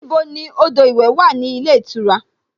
Níbo ni odò ìwẹ̀ wà ní ilé ìtura?